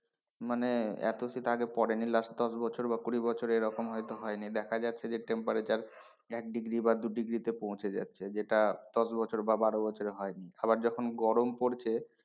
মানে এত শীত আগে পড়েনি last দশ বছর বা কুড়ি বছরে এরকম হয়তো হয়নি, দেখা যাচ্ছে যে temperature এক degree বা দু degree তে পৌঁছে যাচ্ছে যেটা দশ বছর বা বারো বছরে হয়নি, আবার যখন গরম পড়ছে,